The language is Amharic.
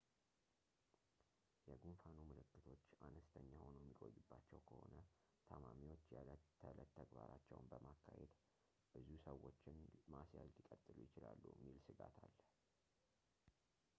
የጉንፋኑ ምልክቶች አነስተኛ ሆኖ የሚቆይባቸው ከሆነ ታማሚዎች የዕለት ተዕለት ተግባራቸውን በማካሄድ ብዙ ሰዎችን ማስያዝ ሊቀጥሉ ይችላሉ የሚል ሥጋት አለ